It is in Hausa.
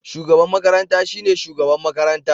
Shugaban makaranta shine shugaban makaranta.